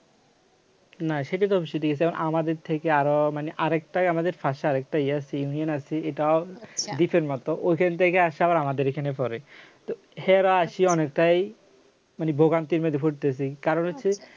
না সেটা তো অবশ্যই ঠিক আছে যেমন আমাদের থেকে আরো মানে আর একটা আমাদের ভাষার একটা ইয়ে আছে union আছে এটাও দ্বীপের মত ওখান থেকে এসে আবার আমাদের এখানে পড়ে তো এরাও আছে অনেকটাই মানে ভোগান্তির মধ্যে পড়তেছে কারণ হচ্ছে